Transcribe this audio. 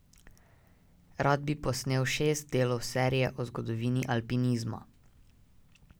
Rad bi posnel šest delov serije o zgodovini alpinizma.